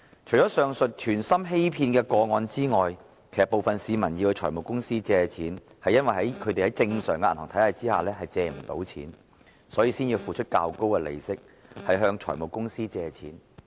除了上述存心欺騙的個案外，部分市民向財務公司借貸，其實是因為他們無法在正常的銀行體系下借貸，所以才付出較高利息向財務公司借貸。